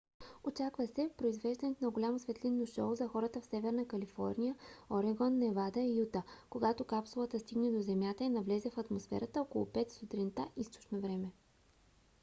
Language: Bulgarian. очаква се произвеждането на голямо светлинно шоу за хората в северна калифорния орегон невада и юта когато капсулата стигне до земята и навлезе в атмосферата около 5 сутринта източно време